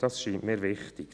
Das scheint mir wichtig.